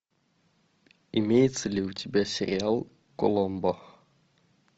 имеется ли у тебя сериал коломбо